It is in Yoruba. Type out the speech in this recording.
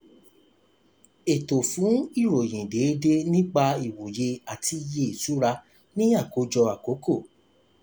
ètò fún ìròyìn déédéé nípa ìwòye àti iye ìṣura ni àkójọ àkókò.